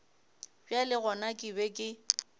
bjale gona ke be ke